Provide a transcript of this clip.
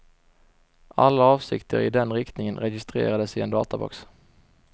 Alla avsikter i den riktningen registreras i en databox.